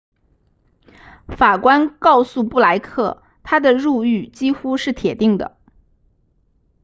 法官告诉布莱克他的入狱几乎是铁定的